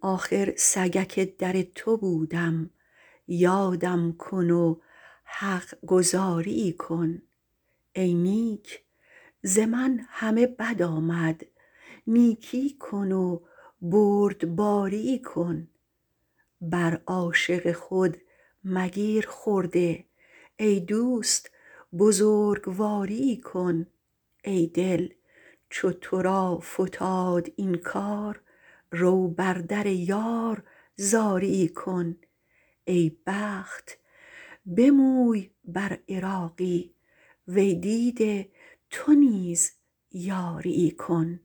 آخر سگک در تو بودم یادم کن و حق گزاریی کن ای نیک ز من همه بد آمد نیکی کن و بردباریی کن بر عاشق خود مگیر خرده ای دوست بزرگواریی کن ای دل چو تو را فتاد این کار رو بر در یار زاریی کن ای بخت بموی بر عراقی وی دیده تو نیز یاریی کن